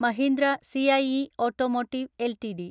Mahindra CIE automotive LTD